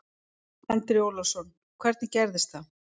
Andri Ólafsson: Hvernig gerðist það?